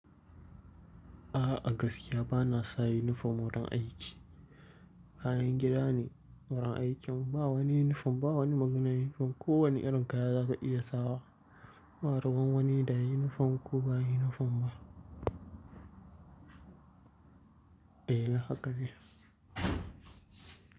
A'a, a gaskiya bana sa uniform wurin aiki. Kayan gida ne wurin aikin, ba wani uniform ba wani maganar uniform. Ko wanne irin kaya zaka iya sawa. Ba ruwan wani da ya yi uniform ko bai yi uniform ba. Eh, la haka ne.